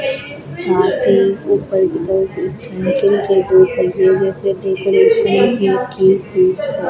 साथ ही ऊपर की तरफ एक साइकिल के दो पहिए जैसे डेकोरेशन की हुई है।